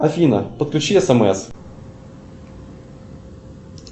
афина подключи смс